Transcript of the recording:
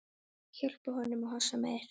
Hjálpa honum að hossa mér.